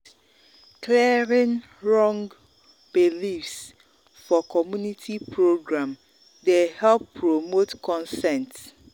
clearing wrong beliefs for community program dey help promote consent.